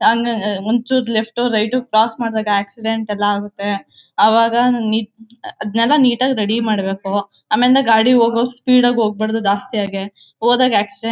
ನಾನು ಒಂಚೂರ್ left right cross ಮಾಡ್ದಾಗ ಆಕ್ಸಿಡೆಂಟ್ ಎಲ್ಲ ಆಗತ್ತೆ. ಅವಾಗ ನಂಗ್ ನೀ ಅದನ್ನೆಲ್ಲಾ ನೀಟ್ ಆಗ್ ರೆಡಿ ಮಾಡ್ಬೇಕು. ಆಮೇಲಿಂದ ಗಾಡಿ ಹೋಗೋ ಸ್ಪೀಡ್ ಆಗ್ ಹೋಗ್ಬಾರ್ದು ಜಾಸ್ತಿಯಾಗಿ. ಹೋದಾಗ್ ಆಕ್ಸಿಡೆಂಟ್ --